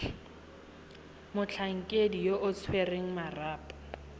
motlhankedi yo o tshwereng marapo